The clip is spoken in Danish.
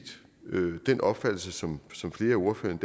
den opfattelse som som flere af ordførerne